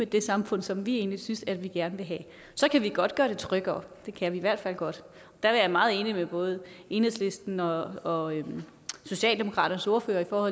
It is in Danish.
det samfund som vi egentlig synes at vi gerne vil have så kan vi godt gøre det tryggere det kan vi i hvert fald godt der er jeg meget enig med både enhedslistens og og socialdemokratiets ordførere når